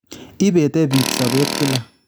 Ibete biik sobet kila